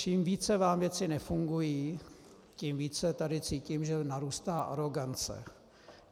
Čím více vám věci nefungují, tím více tady cítím, že narůstá arogance.